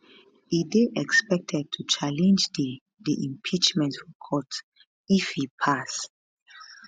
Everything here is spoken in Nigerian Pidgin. e dey expected to challenge di di impeachment for court if e pass